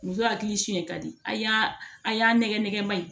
Muso hakili siɲɛ ka di a y'a nɛgɛnɛma ye